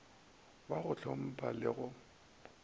wa go ntlhompha le go